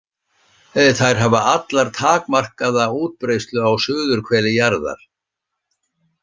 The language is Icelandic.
Þær hafa allar takmarkaða útbreiðslu á suðurhveli jarðar.